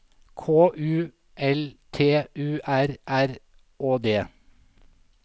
K U L T U R R Å D